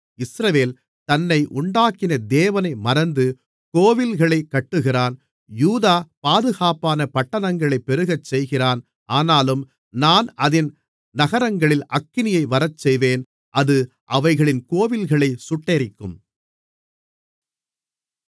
இஸ்ரவேல் தன்னை உண்டாக்கின தேவனை மறந்து கோவில்களைக் கட்டுகிறான் யூதா பாதுகாப்பான பட்டணங்களைப் பெருகச்செய்கிறான் ஆனாலும் நான் அதின் நகரங்களில் அக்கினியை வரச்செய்வேன் அது அவைகளின் கோவில்களைச் சுட்டெரிக்கும்